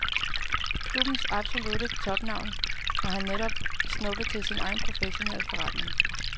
Klubbens absolutte topnavn har han netop snuppet til sin egen professionelle forretning.